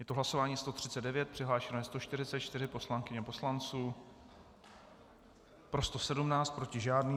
Je to hlasování 139, přihlášeno je 144 poslankyň a poslanců, pro 117, proti žádný.